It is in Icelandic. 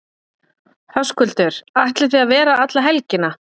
Höskuldur: Ætlið þið að vera alla helgina?